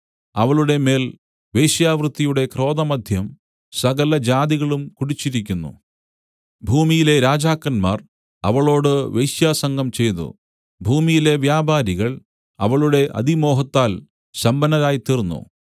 അവളുടെമേൽ വേശ്യാവൃത്തിയുടെ ക്രോധമദ്യം സകലജാതികളും കുടിച്ചിരിക്കുന്നു ഭൂമിയിലെ രാജാക്കന്മാർ അവളോട് വേശ്യാസംഗം ചെയ്തു ഭൂമിയിലെ വ്യാപാരികൾ അവളുടെ അതിമോഹത്താൽ സമ്പന്നരായിത്തീർന്നു